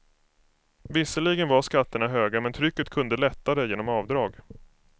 Visserligen var skatterna höga men trycket kunde lättare genom avdrag.